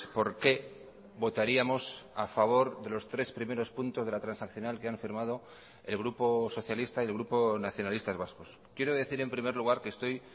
por qué votaríamos a favor de los tres primeros puntos de la transaccional que han firmado el grupo socialista y el grupo nacionalistas vascos quiero decir en primer lugar que estoy